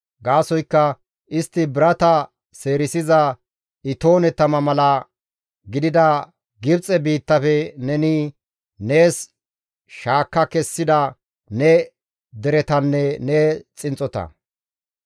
Gaasoykka istti birata seerisiza itoone tama mala gidida Gibxe biittafe neni nees shaakka kessida ne deretanne ne xinxxota.